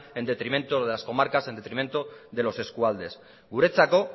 en detrimento de las comarcas en detrimento de los eskualdes guretzako